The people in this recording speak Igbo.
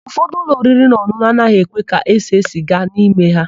Ụfọdụ ụlọ oririnaọn̄ụn̄ụ anaghị ekwe ka ese sịga n'ime ha.